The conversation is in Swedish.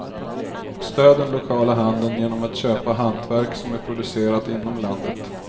Stöd den lokala handeln genom att köpa hantverk som är producerat inom landet.